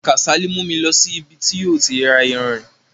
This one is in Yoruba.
Kásálì mú mi lọ sí ibè tó ti ra ìyánrín.